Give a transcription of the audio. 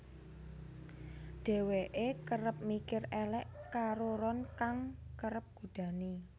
Dheweke kerep mikir elek karo Ron kang kerep godani